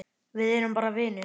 Við erum bara vinir.